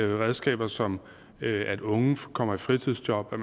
redskaber som at unge kommer i fritidsjob at